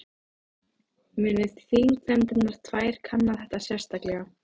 Muni þingnefndirnar tvær kanna þetta sérstaklega